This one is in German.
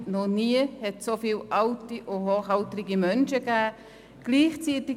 Noch nie hat es so viele alte und hochaltrige Menschen gegeben.